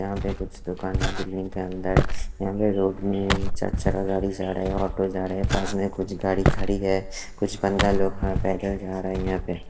यहां पे कुछ दुकान हैं बिल्डिंग के अंदर यहां पे रोड में चार चक्का जा रहे हैं ऑटो जा रहे पास में कुछ गाड़ी खड़ी है कुछ बंदा लोग हैं पैदल जा रहे हैं यहां पे --